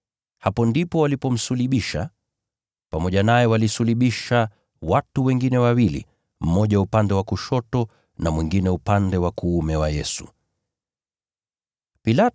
Hapo ndipo walipomsulubisha. Pamoja naye walisulubisha watu wengine wawili, mmoja kila upande wake, naye Yesu katikati.